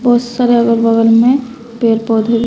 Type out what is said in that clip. बहुत सारे अगल बगल में पेड़ पौधे भी--